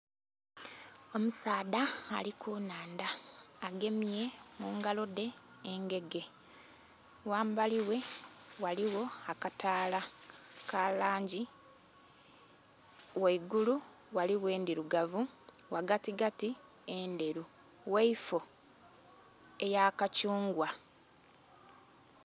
Omusaadha ali ku nhandha agemye mungalo dhe engege, ghambali ghe ghaligho akataala ka langi ghaigulu ghaligho endhirugavu ghagati gati endheru, ghaifoo eya kathungwa.